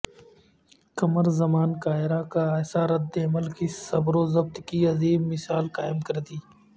قمر زمان کائرہ کا ایسا ردعمل کہ صبر و ضبط کی عظیم مثال قائم کردی